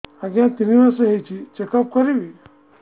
ଆଜ୍ଞା ତିନି ମାସ ହେଇଛି ଚେକ ଅପ କରିବି